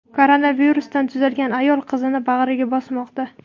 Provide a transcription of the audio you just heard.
Koronavirusdan tuzalgan ayol qizini bag‘riga bosmoqda.